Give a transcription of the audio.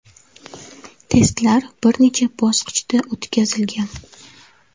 Testlar bir necha bosqichda o‘tkazilgan.